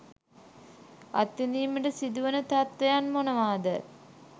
අත්විඳීමට සිදුවන තත්ත්වයන් මොනවාද?